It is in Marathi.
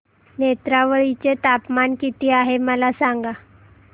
नेत्रावळी चे तापमान किती आहे मला सांगा